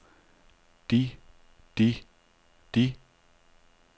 de de de